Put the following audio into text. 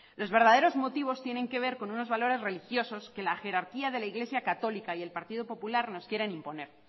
los verdaderos motivos tienen que ver con unos valores religiosos que la jerarquía de la iglesia católica y el partido popular nos quieren imponer